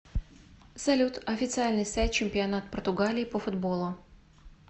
салют официальный сайт чемпионат португалии по футболу